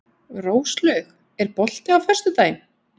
Róslaug, er bolti á föstudaginn?